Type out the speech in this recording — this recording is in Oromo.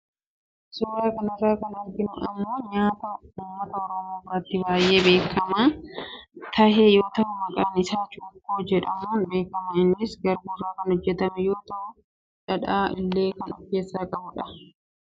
Suuraa kanarrraa kan arginu kun immoo nyaata uummata oromoo biratti baayee beekamaa tahe yoo tahu maqaan isaas cuukkoo jedhamuun beekama. Innis garbuu irraa kan hojjetame yoo tahu dhadhaa illee kan of keessaa qabudha.